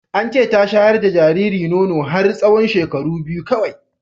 Ance ta shayar da jariri nono har tsawon shekaru biyu kawai